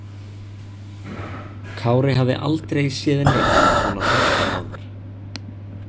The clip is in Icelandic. Kári hafði aldrei séð neinn svona hræddan áður.